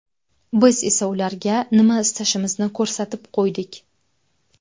Biz esa ularga nima istashimizni ko‘rsatib qo‘ydik.